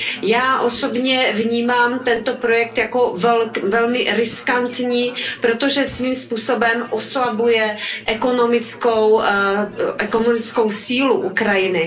Já osobně vnímám tento projekt jako velmi riskantní, protože svým způsobem oslabuje ekonomickou sílu Ukrajiny.